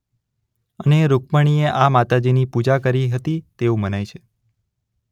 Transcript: અને રૂક્મણિએ આ માતાજીની પૂજા કરી હતી તેવું મનાય છે.